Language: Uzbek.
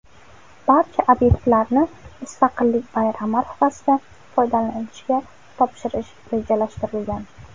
Barcha obyektlarni Mustaqillik bayrami arafasida foydalanishga topshirish rejalashtirilgan.